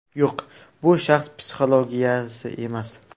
Yo‘q, bu shaxs psixologiyasi emas.